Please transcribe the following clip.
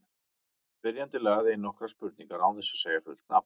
Spyrjandi lagði inn nokkrar spurningar án þess að segja fullt nafn.